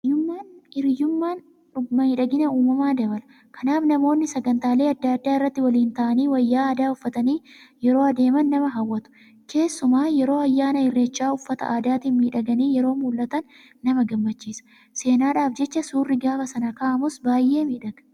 Hiriyummaan miidhagina uumamaa dabala. Kanaaf namoonni sagantaalee adda addaa irratti waliin ta'anii wayyaa aadaa uffatanii yeroo adeeman nama hawwatu. Keessumaa yeroo ayyaana Irreechaa uffata aadaatiin miidhaganii yeroo mul'atan nama gammachiisa. Seenaadhaaf jecha suurri gaafa sana ka'amus baay'ee miidhaga.